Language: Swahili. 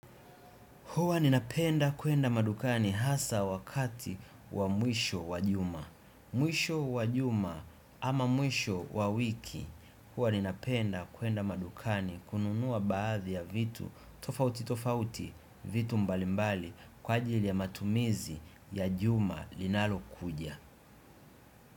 Huwa ninapenda kuenda madukani hasa wakati wa mwisho wa juma. Mwisho wa juma ama mwisho wa wiki. Huwa ninapenda kuenda madukani kununua baadhi ya vitu. Tofauti tofauti vitu mbalimbali kwa ajili ya matumizi ya juma linalo kuja.